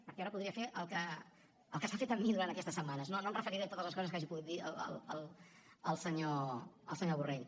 perquè ara podria fer el que s’ha fet amb mi durant aquestes setmanes no no em referiré a totes les coses que hagi pogut dir el senyor borrell